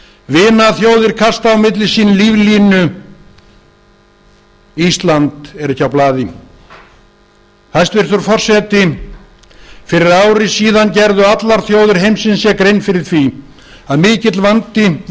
vinaþjóðir kasta á milli sín líflínu ísland er ekki á blaði hæstvirtur forseti fyrir ári síðan gerðu allar þjóðir heimsins sér grein fyrir því að mikill vandi var